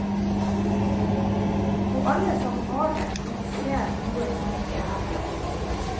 Og alle som har det kan se noe som ikke er der.